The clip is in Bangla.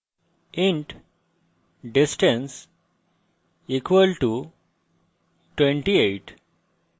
int distance equal to 28